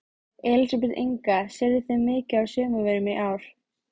Elísabet Inga: Seljið þið mikið af sumarvörum í ár?